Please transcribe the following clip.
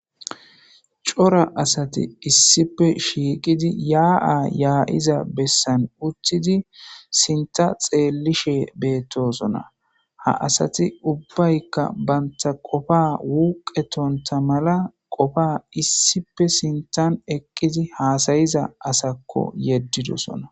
Cora asathi issipe shiiqidi yaa7a yaa7iza bessan uththidi sinththa xeellishe beeththoosona; ha asathi ubbaykka banththa qofaa wuuqeththonththa mala qofaa issipe sinththan eqqizi haasayiza asakko yeddidosona.